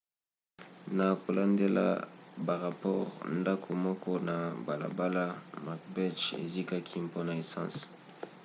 na kolandela barapore ndako moko na balabala macbeth ezikaki mpona esanse